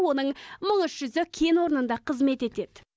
оның мың үш жүзі кен орнында қызмет етеді